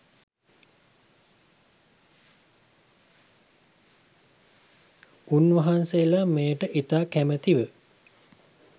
උන්වහන්සේලා මෙයට ඉතා කමැති ව